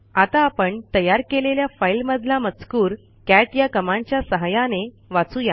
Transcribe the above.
आता आपण तयार केलेल्या फाईल मधला मजकूर कॅट या कमांडच्या सहाय्याने वाचू या